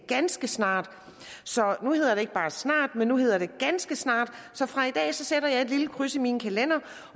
ganske snart så nu hedder det ikke bare snart nu hedder det ganske snart så fra i dag sætter jeg et lille kryds i min kalender